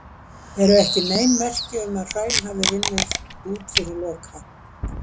Ekki eru nein merki um að hraun hafi runnið út fyrir Loka.